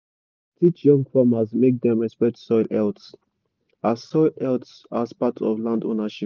we dey teach young farmers make dem respect soil health as soil health as part of land ownership.